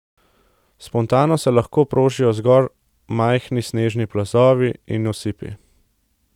Spontano se lahko prožijo zgolj majhni snežni plazovi in osipi.